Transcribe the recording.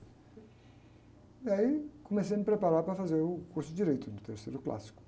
E aí comecei a me preparar para fazer o curso de direito no terceiro clássico.